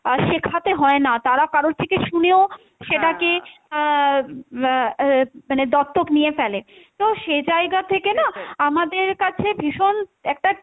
আহ শেখাতে হয়না, তারা কারোর থেকে শুনেও সেটাকে আহ বা অ্যা ও মানে দত্তক নিয়ে ফেলে, তো সেই জায়গা থেকে না আমাদের কাছে ভীষণ একটা,